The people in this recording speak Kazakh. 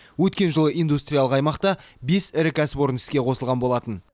өткен жылы индустриялық аймақта бес ірі кәсіпорын іске қосылған болатын